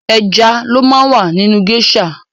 Ẹja ló má ń wà nínú géésà.